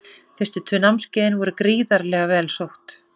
Fyrstu tvö námskeiðin voru gríðarlega vel sótt.